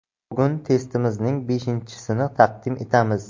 Bugun testimizning beshinchisini taqdim etamiz.